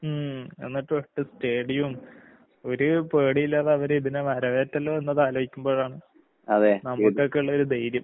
ഉം എന്നിട്ടൊറ്റ സ്റ്റേഡിയോം, ഒരു പേടീയില്ലാതെ അവരിതിനെ വരവേറ്റല്ലോ എന്നതാലോയ്ക്കുമ്പോഴാണ് നമുക്കൊക്കിള്ളൊരു ധൈര്യം.